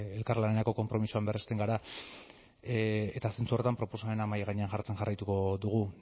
elkarlanerako konpromisoan berresten gara eta zentzu horretan proposamenak mahai gainean jartzen jarraituko dugu